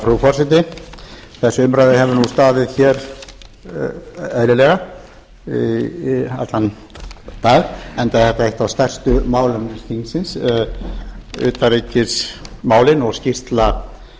frú forseti þessi umræða hefur staðið eðlilega í allan dag enda er þetta eitt af stærstu málum þingsins utanríkismálin og skýrsla